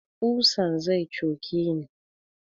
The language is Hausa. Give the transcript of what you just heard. Ƙusan zai coke ni